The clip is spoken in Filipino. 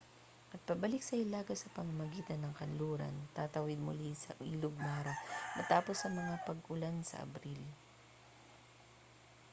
at pabalik sa hilaga sa pamamagitan ng kanluran tatawid muli sa ilog mara matapos ng mga pag-ulan sa abril